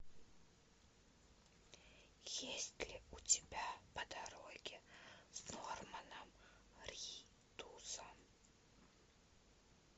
есть ли у тебя по дороге с норманом ридусом